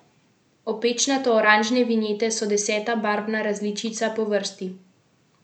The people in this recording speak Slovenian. Opečnato oranžne vinjete so deseta barvna različica po vrsti.